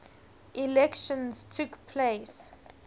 elections took place